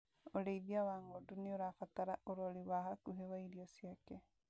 ũrĩithia wa ng'ondu nĩũrabatara ũrori wa hakuhĩ wa irio ciake